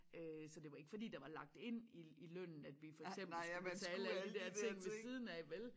Øh så det var ikke fordi der var lagt ind i i lønnen at vi for eksempel skulle betale alle de dér ting ved siden af vel